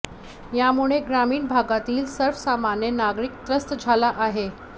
यामुळे ग्रामीण भागातील सर्वसामान्य नागरिक त्रस्त झाला आहे